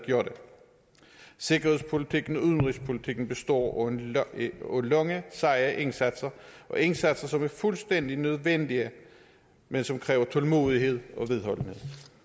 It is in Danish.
sikkerhedspolitikken og udenrigspolitikken består af lange seje indsatser indsatser som er fuldstændig nødvendige men som kræver tålmodighed og vedholdenhed